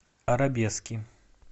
арабески